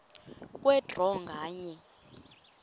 kwe draw nganye